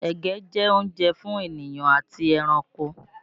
Ẹ̀gẹ́ jẹ́ oúnjẹ fún ènìyàn àti ẹranko